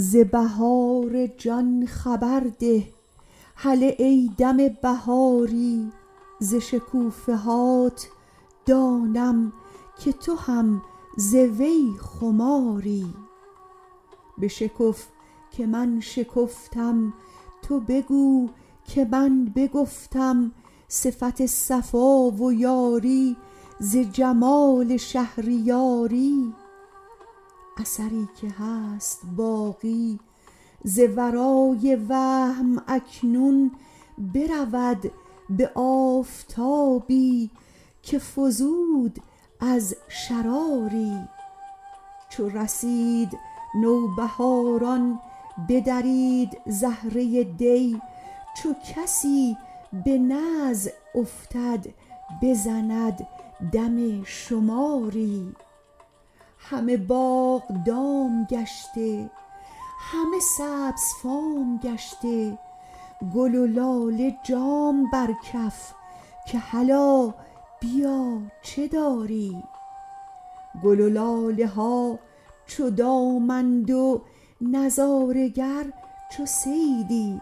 ز بهار جان خبر ده هله ای دم بهاری ز شکوفه هات دانم که تو هم ز وی خماری بشکف که من شکفتم تو بگو که من بگفتم صفت صفا و یاری ز جمال شهریاری اثری که هست باقی ز ورای وهم اکنون برود به آفتابی که فزود از شراری چو رسید نوبهاران بدرید زهره دی چو کسی به نزع افتد بزند دم شماری همه باغ دام گشته همه سبزفام گشته گل و لاله جام بر کف که هلا بیا چه داری گل و لاله ها چو دام اند و نظاره گر چو صیدی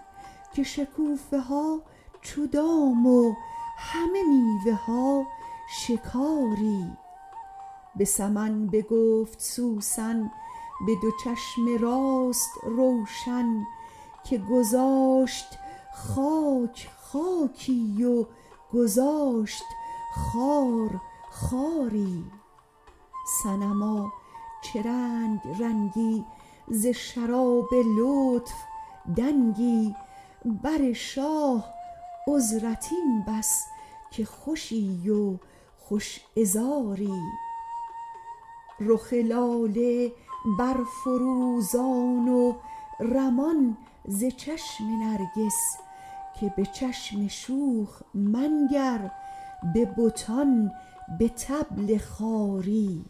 که شکوفه ها چو دام و همه میوه ها شکاری به سمن بگفت سوسن به دو چشم راست روشن که گذاشت خاک خاکی و گذاشت خار خاری صنما چه رنگ رنگی ز شراب لطف دنگی بر شاه عذرت این بس که خوشی و خوش عذاری رخ لاله برفروزان و رمان ز چشم نرگس که به چشم شوخ منگر به بتان به طبل خواری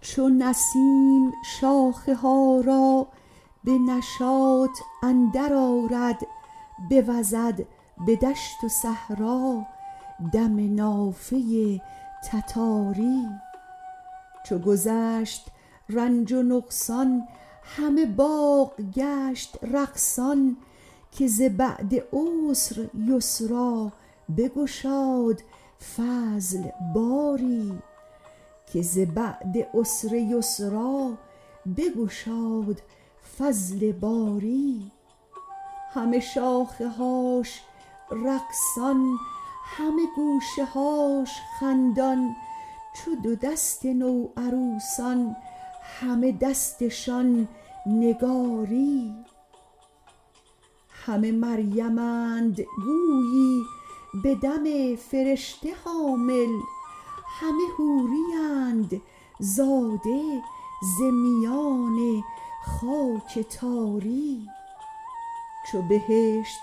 چو نسیم شاخه ها را به نشاط اندرآرد بوزد به دشت و صحرا دم نافه تتاری چو گذشت رنج و نقصان همه باغ گشت رقصان که ز بعد عسر یسری بگشاد فضل باری همه شاخه هاش رقصان همه گوشه هاش خندان چو دو دست نوعروسان همه دستشان نگاری همه مریمند گویی به دم فرشته حامل همه حوریند زاده ز میان خاک تاری چو بهشت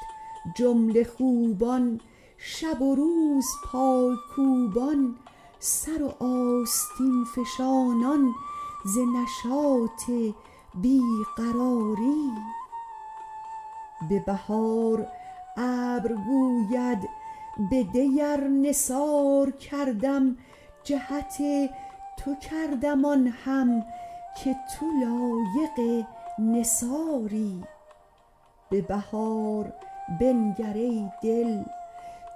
جمله خوبان شب و روز پای کوبان سر و آستین فشانان ز نشاط بی قراری به بهار ابر گوید بدی ار نثار کردم جهت تو کردم آن هم که تو لایق نثاری به بهار بنگر ای دل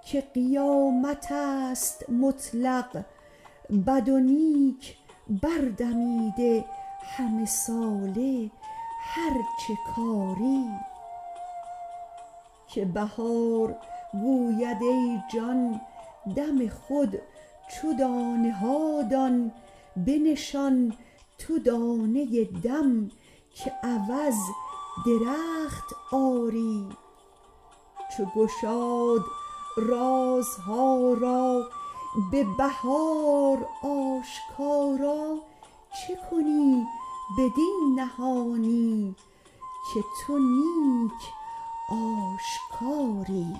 که قیامت است مطلق بد و نیک بردمیده همه ساله هر چه کاری که بهار گوید ای جان دم خود چو دانه ها دان بنشان تو دانه دم که عوض درخت آری چو گشاد رازها را به بهار آشکارا چه کنی بدین نهانی که تو نیک آشکاری